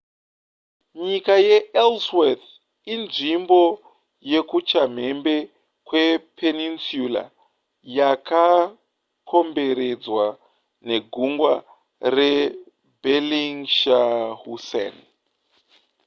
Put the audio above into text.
nyika yeellsworth inzvimbo yekuchamhembe kwepeninsula yakakomberedzwa negungwa rebellingshausen